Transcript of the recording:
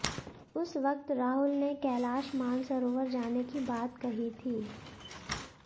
उस वक्त राहुल ने कैलाश मानसरोवर जाने की बात कही थी